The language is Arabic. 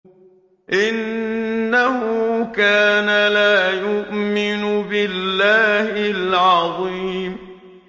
إِنَّهُ كَانَ لَا يُؤْمِنُ بِاللَّهِ الْعَظِيمِ